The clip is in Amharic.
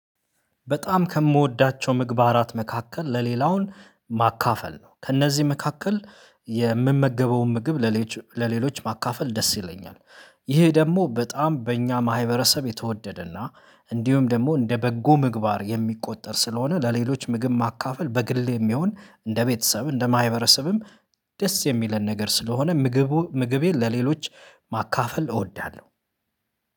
በጣም ከምወዳቸው ምግባራት መካከል ለሌላው ማካፈል ነው ከእነዚህ መካከል የምመገበውን ምግብ ለሌሎች ማካፈል ደስ ይለኛል። ይሄ ደግሞ በጣም በእኛ ማህበረሰብ የተወደደና እንዲሁም ደግሞ እንደ በጎ ምግባር የሚቆጠር ስለሆነ ለሌሎች ምግብ ማካፈል በግሌም ይሁን እንደ ቤተሰብ እንደ ማህበረሰብም ደስ የሚለን ነገር ስለሆነ ምግቡ ምግቤን ለሌሎች ማካፈል እወዳለሁ